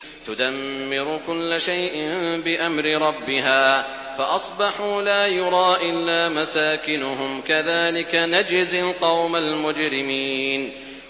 تُدَمِّرُ كُلَّ شَيْءٍ بِأَمْرِ رَبِّهَا فَأَصْبَحُوا لَا يُرَىٰ إِلَّا مَسَاكِنُهُمْ ۚ كَذَٰلِكَ نَجْزِي الْقَوْمَ الْمُجْرِمِينَ